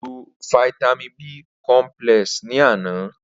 Ó lo fáítámì B cọmpílẹ̀s ni àná